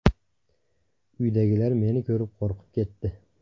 Uydagilar meni ko‘rib qo‘rqib ketdi.